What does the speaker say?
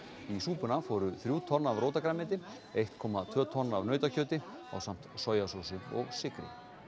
í súpuna fóru þrjú tonn af rótargrænmeti eitt komma tvö tonn af nautakjöti ásamt sojasósu og sykri